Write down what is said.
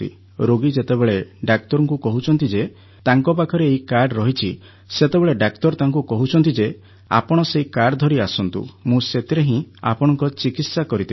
ରୋଗୀ ଯେତେବେଳେ ଡାକ୍ତରଙ୍କୁ କହୁଛନ୍ତି ଯେ ତାଙ୍କ ପାଖରେ ଏହି କାର୍ଡ଼ ରହିଛି ସେତେବେଳେ ଡାକ୍ତର ତାଙ୍କୁ କହୁଛନ୍ତି ଯେ ଆପଣ ସେହି କାର୍ଡ଼ ଧରି ଆସନ୍ତୁ ମୁଁ ସେଥିରେ ହିଁ ଆପଣଙ୍କ ଚିକିତ୍ସା କରିଦେବି